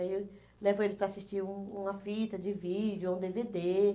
Aí eu levo eles para assistir um uma fita de vídeo, ou um dê vê dê.